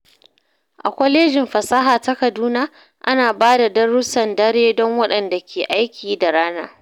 A kwalejin fasaha ta Kaduna, ana ba da darussan dare don waɗanda ke aiki da rana.